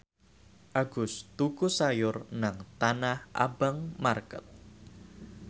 Agus tuku sayur nang Tanah Abang market